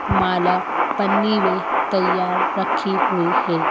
माला पन्नी में तैयार रखी हुई हैं ।